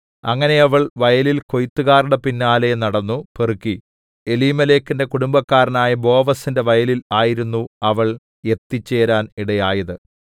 അങ്ങനെ അവൾ വയലിൽ കൊയ്ത്തുകാരുടെ പിന്നാലെ നടന്നു പെറുക്കി എലീമേലെക്കിന്റെ കുടുംബക്കാരനായ ബോവസിന്റെ വയലിൽ ആയിരുന്നു അവൾ എത്തിച്ചേരാൻ ഇടയായത്